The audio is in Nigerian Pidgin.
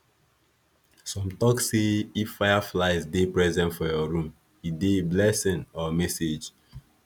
some tok say if fireflies dey present for your room e dey blessing or message